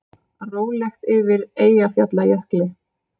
Rólegt yfir Eyjafjallajökli